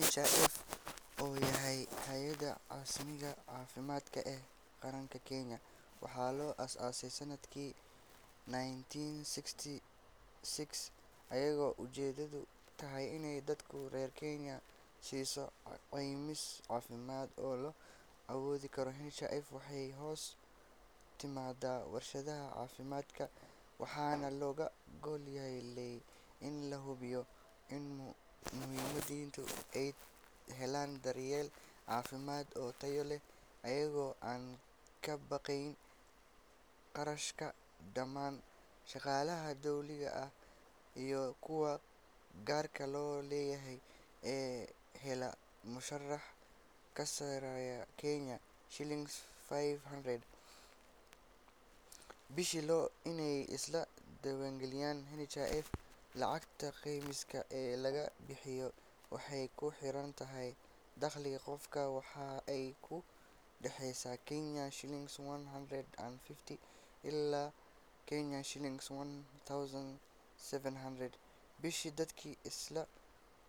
NHIF oo ah Hay’adda Caymiska Caafimaadka ee Qaranka Kenya, waxaa la aasaasay sanadkii nineteen sixty six iyadoo ujeedadeedu tahay inay dadka reer Kenya siiso caymis caafimaad oo la awoodi karo. NHIF waxay hoos timaadaa wasaaradda caafimaadka, waxaana looga gol leeyahay in la hubiyo in muwaadiniinta ay helaan daryeel caafimaad oo tayo leh iyagoo aan ka baqayn kharashka. Dhammaan shaqaalaha dawliga ah iyo kuwa gaarka loo leeyahay ee hela mushaar ka sarreeya Kenya shillings five hundred bishii waa inay iska diiwaangeliyaan NHIF. Lacagta caymiska ee la bixiyaa waxay ku xiran tahay dakhliga qofka, waxaana ay u dhaxaysaa Kenya shillings one hundred and fifty ilaa Kenya shillings one thousand seven hundred bishii. Dadka iskaa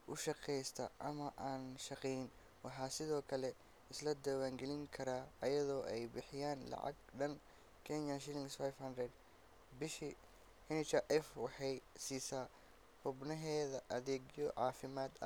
u shaqeysta ama aan shaqayn waxay sidoo kale iska diiwaangelin karaan iyadoo ay bixiyaan lacag dhan Kenya shillings five hundred bishii. NHIF waxay siisaa xubnaheeda adeegyo caafimaad.